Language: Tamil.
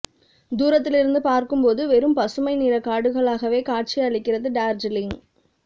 தூரத்திலிருந்து பார்க்கும் போது வெறும் பசுமை நிறக் காடுகளாகவே காட்சி அளிக்கிறது டார்ஜிலிங்